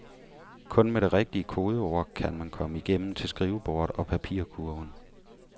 Kun med det rigtige kodeord kan man komme igennem til skrivebordet og papirkurven.